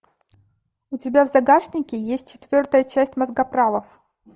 у тебя в загашнике есть четвертая часть мозгоправов